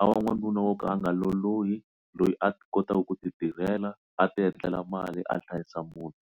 a va n'wanuna wo ka a nga lolohi loyi a kotaka ku ti tirhela a ti endlela mali a hlayisa munti.